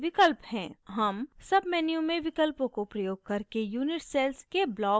हम submenu में विकल्पों को प्रयोग करके unit cells के blocks को भी दिखा सकते हैं